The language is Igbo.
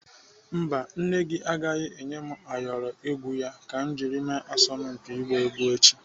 Mba, nne gị agaghị enye m ayọrọ egwu ya ka m ji mee asọmpi igba egwu echi.